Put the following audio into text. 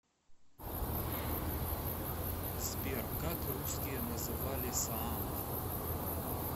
сбер как русские называли саамов